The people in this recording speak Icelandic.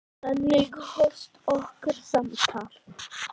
Þannig hófst okkar samtal.